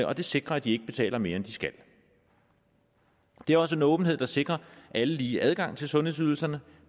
og det sikrer at de ikke betaler mere end de skal det er også en åbenhed der sikrer alle lige adgang til sundhedsydelserne